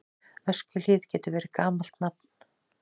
Öskjuhlíð getur verið gamalt nafn.